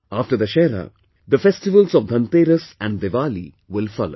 After Dussehra, the festival of Dhanteras and Diwaliwill follow